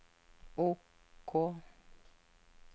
OK